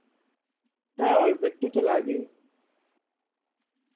হ্যাঁ অল্প একটু তো লাগে